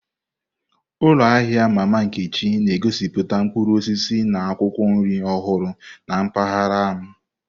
Ụlọ ahịa Mama Nkechi na-egosiputa mkpụrụ osisi na akwụkwọ nri ọhụrụ na mpaghara m.